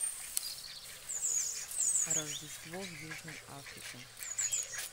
рождество в южной африке